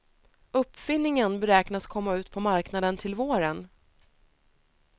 Uppfinningen beräknas komma ut på marknaden till våren.